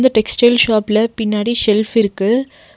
இந்த டெக்ஸ்டைல் ஷாப்ல பின்னாடி ஷெல்ஃப் இருக்கு.